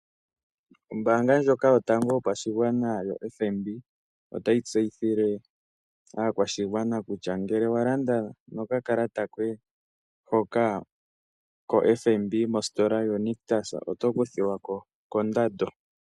Ombaanga ndyoka yotango yopashigwana yoFNB otayi tseyithile aakwashigwana kutya ngele walanda nokakalata koye hoka koFNB mositola yaNictus oto kuthilwa koondando.